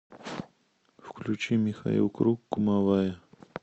включи михаил круг кумовая